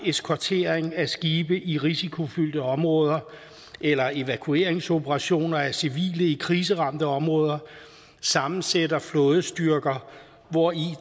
eskortering af skibe i risikofyldte områder eller evakueringsoperationer af civile i kriseramte områder sammensætter flådestyrker hvori